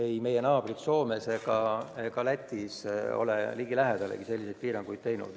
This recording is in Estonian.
Ei meie naabrid Soomes ega Lätis ole ligilähedalegi selliseid piiranguid kehtestanud.